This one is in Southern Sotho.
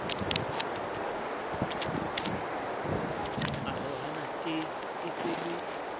arohana tjeee se e le